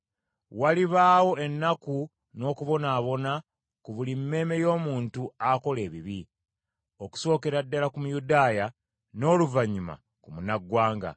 Walibaawo ennaku n’okubonaabona ku buli mmeeme y’omuntu akola ebibi, okusookera ku Muyudaaya n’oluvannyuma ku Munnaggwanga.